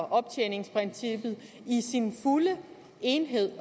optjeningsprincippet i sin fulde helhed